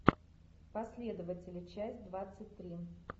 последователи часть двадцать три